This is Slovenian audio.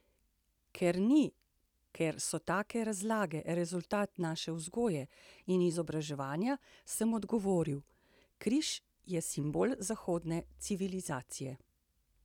Ker ni, ker so take 'razlage' rezultat naše vzgoje in izobraževanja, sem odgovoril: 'Križ je simbol zahodne civilizacije.